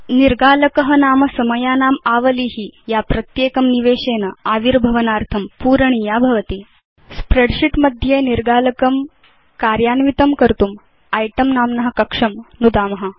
निर्गालकः नाम समयानामावालिः या प्रत्येकं निवेशेन आविर्भवनार्थं पूरणीया भवति स्प्रेडशीट् मध्ये निर्गालकम् अन्वेतुं इतें नाम्न कक्षं नुदाम